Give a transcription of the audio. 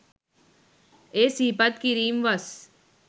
එය සිහිපත් කිරීම් වස්